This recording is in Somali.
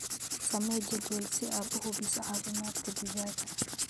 Samee jadwal si aad u hubiso caafimaadka digaagga.